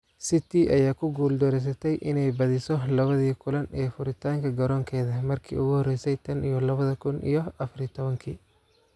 City ayaa ku guuldareysatay inay badiso labadii kulan ee furitaanka garoonkeeda markii ugu horeysay tan iyo labada kuun iyo afaar iyo tobankii.